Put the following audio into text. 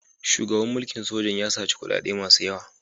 Shugaban mulkin sojan ya saci kuɗaɗe masu yawa.